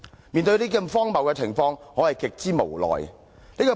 面對這種荒謬的情況，我是極之無奈的。